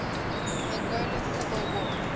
angolan civil war